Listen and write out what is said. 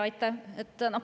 Aitäh!